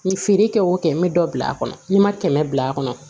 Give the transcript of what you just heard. N ye feere kɛ o kɛ n bɛ dɔ bila a kɔnɔ n ma kɛmɛ bila a kɔnɔ